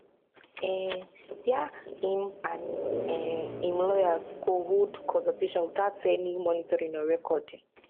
um wia im and um im lawyers go hold consultation witout any monitoring or recording